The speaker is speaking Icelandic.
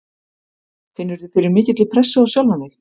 Finnurðu fyrir mikilli pressu á sjálfan þig?